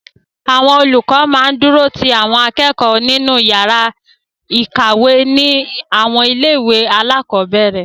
Àwọn olùkọ máa ń dúró ti àwọn akẹ́kọ̀ọ́ wọn nínú yàrá ìkàwé ní àwọn ilé-ìwé alákọ̀ọ́bẹ̀ẹ̀rẹ̀.